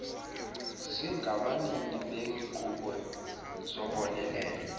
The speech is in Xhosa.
zingabanini beenkqubo zobonelelo